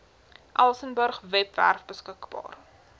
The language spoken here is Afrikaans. elsenburg webwerf beskikbaar